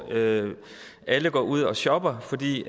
alle går ud og shopper fordi